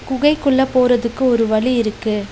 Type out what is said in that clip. குகை குள்ள போறதுக்கு ஒரு வழி இருக்கு.